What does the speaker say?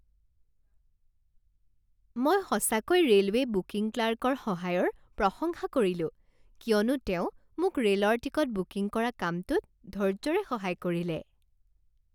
মই সঁচাকৈ railway booking ক্লাৰ্কৰ সহায়ৰ প্ৰশংসা কৰিলো কিয়নো তেওঁ মোক ৰে'লৰ টিকট বুকিং কৰা কামটোত ধৈৰ্য্যৰে সহায় কৰিলে।